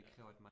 Ja